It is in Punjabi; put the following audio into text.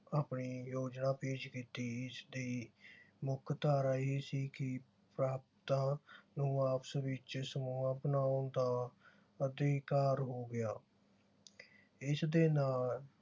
ਆਪਣੀ ਯੋਜਨਾ ਪੇਸ਼ ਕੀਤੀ। ਇਸ ਦੀ ਮੁਖ ਧਾਰਾ ਇਹ ਸੀ ਕਿ ਨੂੰ ਆਪਸ ਵਿਚ ਸਮੂਹ ਬਣਾਉਣ ਦਾ ਅਧਿਕਾਰ ਹੋ ਗਿਆ। ਇਸ ਦੇ ਨਾਲ